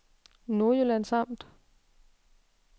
Nordjyllands Amt